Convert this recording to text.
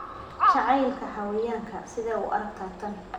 Jacaylka xayawaanka - sidee u aragtaa tan?